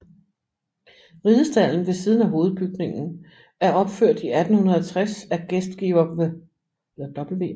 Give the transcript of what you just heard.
Ridestalden ved siden af hovedbygningen er opført i 1860 af gæstgiver W